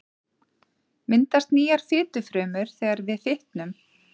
Myndast nýjar fitufrumur þegar við fitnum?